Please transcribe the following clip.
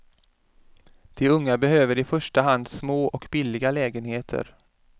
De unga behöver i första hand små och billiga lägenheter.